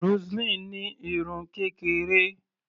Roseline ní irun kékeré.